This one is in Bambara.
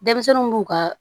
Denmisɛnninw b'u ka